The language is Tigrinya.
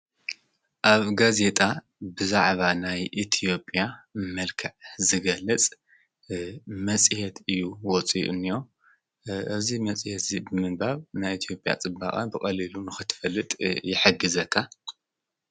ኣብ ጋዜጣ ብዛዕባ ናይ እትዮጲያ መልካዕ ዝገልጽ መጺአት እዩ። ወፂኡንዮ እዚ መጺሀት እ ብምንባብ ናይ ኢትኦጵያ ጽባቓ ብቐልሉ ንኽትፈልጥ የሐጊዘካ።